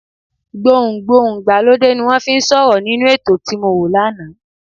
Gbohùn Gbohùn ìgbàlódé ni wọ́n fi ń sọ̀rọ̀ nínú ètò tí mọ wo lánàá.